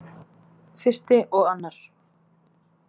I og II